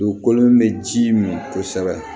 Dugukolo min bɛ ji min kosɛbɛ